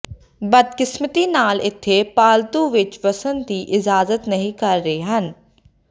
ਬਦਕਿਸਮਤੀ ਨਾਲ ਇੱਥੇ ਪਾਲਤੂ ਵਿਚ ਵਸਣ ਦੀ ਇਜਾਜ਼ਤ ਨਹੀ ਕਰ ਰਹੇ ਹਨ